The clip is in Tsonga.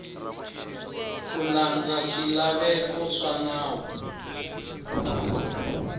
ku landza swilaveko swa nawu